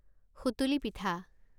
সুতুলি পিঠা